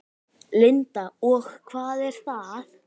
Linda: Og hvað er það?